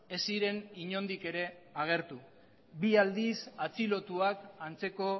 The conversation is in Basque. ez ziren inondik ere agertu bi aldiz atxilotuak antzeko